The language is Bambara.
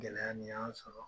Gɛlɛya nin y'an sɔrɔ